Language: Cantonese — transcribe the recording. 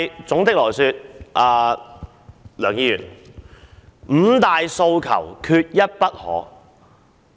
總的來說，梁議員，"五大訴求，缺一不可"。